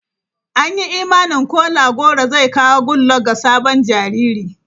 An yi imanin Kola goro zai kawo Goodluck ga sabon jariri.